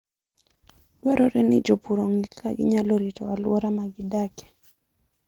Dwarore ni jopur ong'e kaka ginyalo rito alwora ma gidakie.